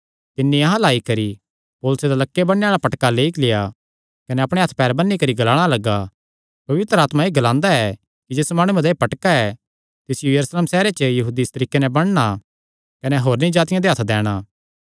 तिन्नी अहां अल्ल आई करी पौलुसे दा लक्के बन्नणे आल़ा पटका लेई लेआ कने अपणे हत्थ पैर बन्नी करी ग्लाणा लग्गा पवित्र आत्मा एह़ ग्लांदा ऐ कि जिस माणुये दा एह़ पटका ऐ तिसियो यरूशलेम सैहरे च यहूदी इस तरीके नैं बन्नणा कने होरनी जातिआं दे हत्थ दैणा